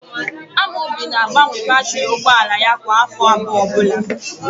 Amobi na-agbanwe batịrị ụgbọala ya kwa áfọ abụọ ọbụla.